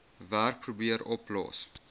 werk probeer oplos